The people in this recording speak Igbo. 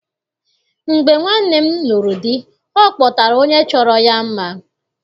Mgbe nwanne m lụrụ di, ọ kpọtara onye chọrọ ya mma.